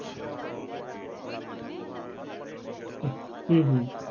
উম হম